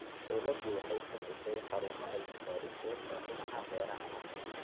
Dawladdu waxay samaysay xarumo cilmi-baadhiseed oo dhinaca beeraha ah.